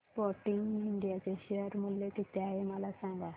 आज Sportking India चे share मूल्य किती आहे मला सांगा